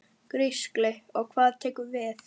Gísli: Og hvað tekur við?